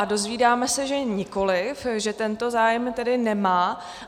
A dozvídáme se, že nikoliv, že tento zájem tedy nemá.